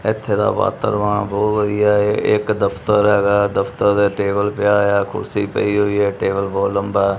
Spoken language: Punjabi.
ਇੱਥੇ ਦਾ ਵਾਤਾਵਰਨ ਬਹੁਤ ਵਧੀਆ ਐ ਇੱਕ ਦਫਤਰ ਹੈਗਾ ਐ ਦਫਤਰ ਦੇ ਟੇਬਲ ਪਿਆ ਹੋਇਆ ਕੁਰਸੀ ਪਈ ਹੋਈ ਏ ਟੇਬਲ ਬਹੁਤ ਲੰਬਾ ਐ।